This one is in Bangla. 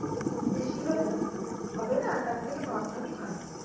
খুব বেশি হলে তো হবে না তার থেকে নন্দনে ভালো